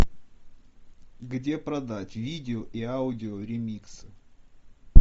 где продать видео и аудио ремикс